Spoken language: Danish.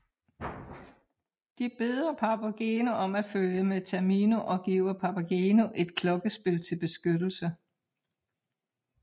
De beder Papageno om at følge med Tamino og giver Papageno et klokkespil til beskyttelse